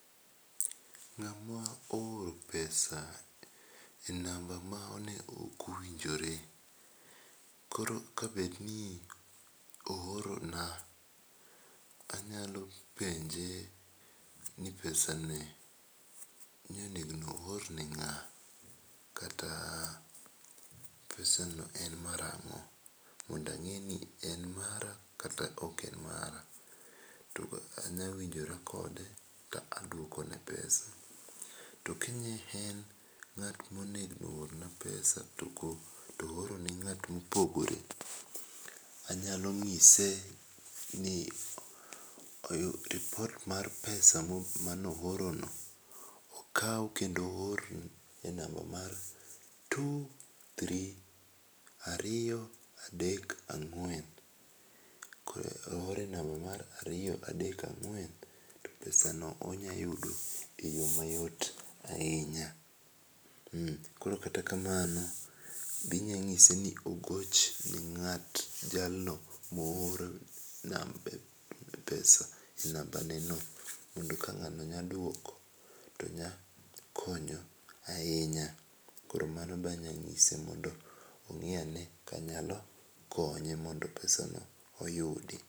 Ng'a ma ooro pesa e namba ma ne ok owinjore, koro ka bed ni oora na nayalo penje ni pesa ni ni onego oora ne ng'a kata pesa no en mar ang'o mondo ang'e ni en mara kata ok en mara, to bende anya winjora kode ka adwokne pesa. To ka ne en ng'at ma onego orna pesa to oore ne ng'at ma opogore anyalo ng'ise ni oyud lipot mar pesa ma ne ooro no okaw kendo oor e namba mar two three ariyo adek angwen koro oor e namba mar ariyo adek ang'wen to pesa no onya yudo e yo mayot ahinya .Koro kata kamano be inya ng'ise ni ogoch ne ng'at jalno ma oorne nambe e pesa namba ne no mondo ka ng'ano nyaduoko to nya konyo ahinya .Koro mano be anya ngise mondo ong'i ane ka pesa n inya yudi.